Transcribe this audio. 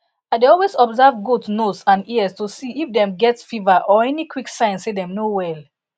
i dey always observe goat nose and ears to see if dem get fever or any quick sign say dem no well